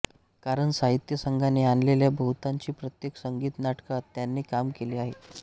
कारण साहित्य संघाने आणलेल्या बहुतांशी प्रत्येक संगीत नाटकात त्यांनी काम केले आहे